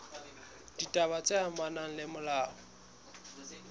ditaba tse amanang le molao